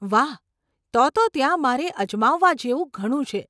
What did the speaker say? વાહ, તો તો ત્યાં મારે અજમાવવા જેવું ઘણું છે.